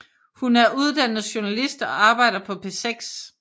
Hun er uddannet journalist og arbejder på P6